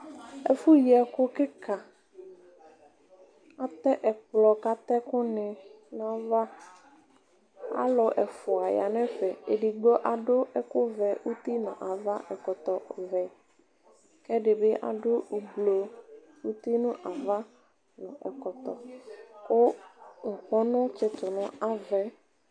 Ɛfʋyi ɛkʋ kika atɛ ɛkplɔ kʋ atɛ ɛkʋni nʋ ayʋ ava alʋ ɛfʋa yanʋ ɛfɛ edigbo adʋ ɛkʋvɛ uti nʋ ava nʋ ɛkɔtɔvɛ kʋ ɛdibi adʋ ʋblɔ uti nʋ ava nʋ ɛkɔtɔ kʋ ŋkpɔnʋ tsitʋ nʋ ava yɛ